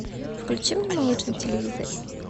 включи мне малыш на телевизоре